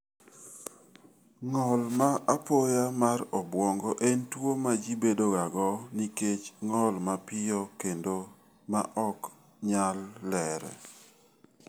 Ng'ol ma apoya mar obwongo en tuwo ma ji bedogago nikech ng'ol mapiyo kendo ma ok nyal lerre.